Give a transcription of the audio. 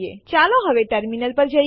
ચાલો હવે ટર્મિનલ પર જઈએ